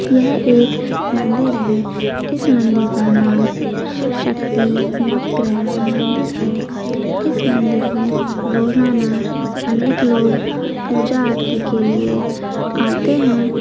यह एक मंदिर है इस मंदिर का नाम शिवशक्ति नवग्रह मंदिर है इस मंदिर मे रोजाना अनेक लोग पुजा आरती के लिए आते है।